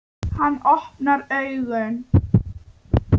Hann opnar augun.